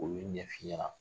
Olu ɲɛf'i ɲɛna.